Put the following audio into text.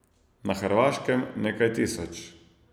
Na hrvaškem nekaj tisoč.